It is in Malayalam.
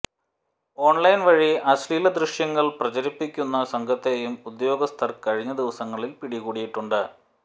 ഓൺലൈൻ വഴി അശ്ലീല ദൃശ്യങ്ങൾ പ്രചരിപ്പിക്കുന്ന സംഘത്തെയും ഉദ്യഗസ്ഥർ കഴിഞ്ഞ ദിവസങ്ങളിൽ പിടികൂടിയിട്ടുണ്ട്